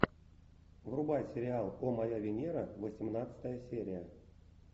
врубай сериал о моя венера восемнадцатая серия